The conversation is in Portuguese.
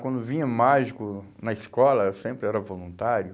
Quando vinha mágico na escola, eu sempre era voluntário.